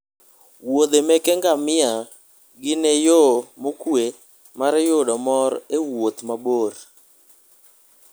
wuodhe meke ngamia gine yo mokwe mar yudo mor e wuoth mabor